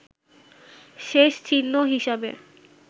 শেষ চিহ্ন হিসাবে